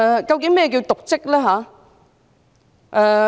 究竟何謂瀆職？